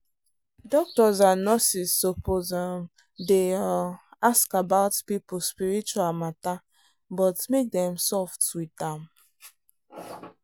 doctors and nurses suppose um dey um ask about people spiritual matter but make dem soft with am.